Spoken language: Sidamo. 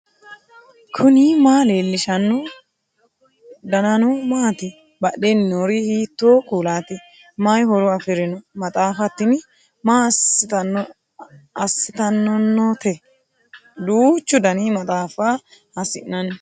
knuni maa leellishanno ? danano maati ? badheenni noori hiitto kuulaati ? mayi horo afirino ? maxaaffa tini maa assitannonnote duuchu dani maxaaffa hiissi'nanni